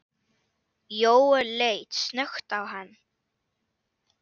Jóel leit snöggt á hann.